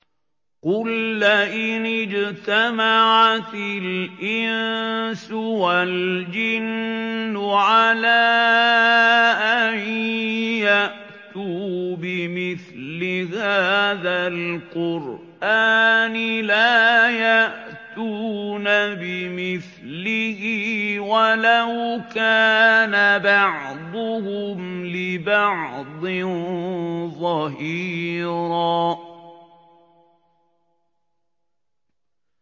قُل لَّئِنِ اجْتَمَعَتِ الْإِنسُ وَالْجِنُّ عَلَىٰ أَن يَأْتُوا بِمِثْلِ هَٰذَا الْقُرْآنِ لَا يَأْتُونَ بِمِثْلِهِ وَلَوْ كَانَ بَعْضُهُمْ لِبَعْضٍ ظَهِيرًا